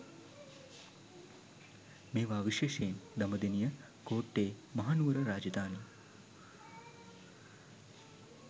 මේවා විශේෂයෙන් දඹදෙනිය කෝට්ටේ මහනුවර රාජධානී